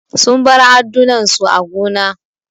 Sun bar addunan su a gona.